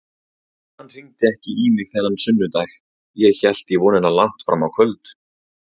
Hann hringdi ekki í mig þennan sunnudag, ég hélt í vonina langt fram á kvöld.